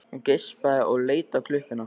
Hún geispaði og leit á klukkuna.